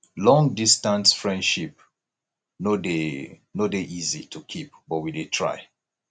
longdistance friendship no dey no dey easy to keep but we dey try